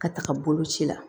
Ka taga boloci la